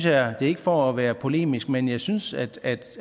er ikke for at være polemisk men jeg synes at